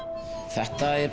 þetta er